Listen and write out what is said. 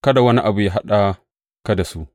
Kada wani abu yă haɗa ka da su.